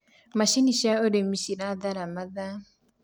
macinĩ cia ũrĩmi cirathara mathaa